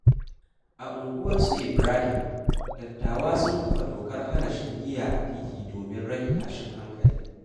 A unguwar su Ibrahim, dattawa sun kafa dokar hana shan giya a titi domin rage tashin hankali.